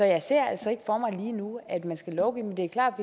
jeg ser altså ikke for mig lige nu at man skal lovgive men det er klart